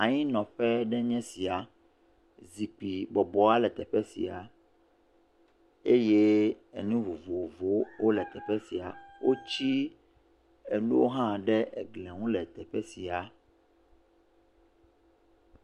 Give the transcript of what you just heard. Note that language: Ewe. anyinɔƒe ɖe nye sia zikpi bɔbɔa le teƒe sia eye enu vovovowo le teƒe sia wó tsi eŋuɖowo hã ɖe eglia ŋu le teƒe sia